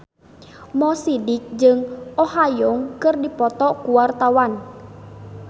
Mo Sidik jeung Oh Ha Young keur dipoto ku wartawan